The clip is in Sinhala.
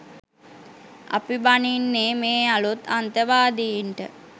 අපි බනින්නේ මේ අලුත් අන්තවාදින්ට